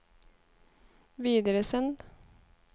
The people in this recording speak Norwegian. videresend